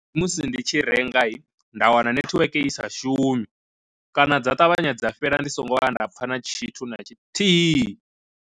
Musi ndi tshi rengai nda wana nethiweke isa shumi, kana dza ṱavhanya dza fhela ndi songo vhuya nda pfha na tshithu na tshithihi.